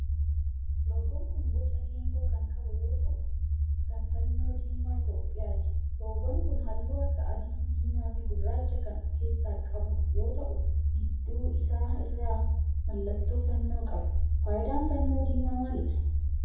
Loogoon kun boca geengoo kan qabu yoo ta'un kan fannoo diimaa Itiyoophiyaati. loogoon kun halluu akka adii, diimaa fi gurraacha kan of keessaa qabu yoo ta'u gidduu isaa irraa mallattoo fannoo qaba. Faayidaan fannoo diimaa maalidha?